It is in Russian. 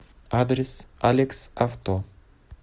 адрес алекс авто